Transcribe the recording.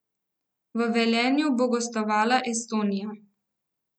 V Velenju bo gostovala Estonija.